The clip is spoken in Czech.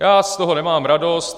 Já z toho nemám radost.